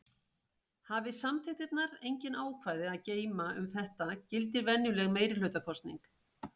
Hafi samþykktirnar engin ákvæði að geyma um þetta gildir venjuleg meirihlutakosning.